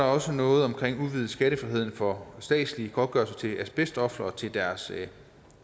også noget om udvidet skattefrihed for statslig godtgørelse til asbestofre og til deres